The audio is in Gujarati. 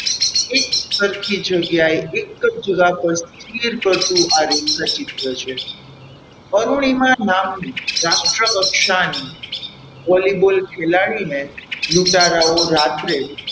એક સરખી જગ્યાએ એક જ સ્થિર કરતુ આ રેખાચિત્ર છે અરુણિમા નામ રાષ્ટ્રકક્ષાની Vollyball ખેલાડીને લૂંટારાઓ રાત્રે,